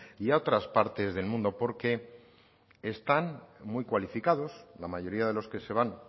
y a otras partes del mundo porque están muy cualificados la mayoría de los que se van